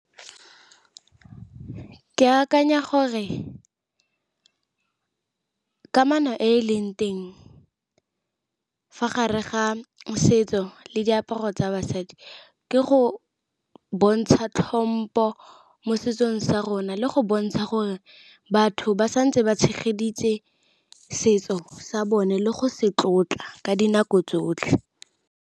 Ke akanya gore kamano e e leng teng, fa gare ga le diaparo tsa basadi ke go bontsha tlhompo mo setsong sa rona, le go bontsha gore batho ba santse ba tshegeditse setso sa bone le go se tlotla ka dinako tsotlhe.